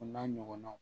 O n'a ɲɔgɔnnaw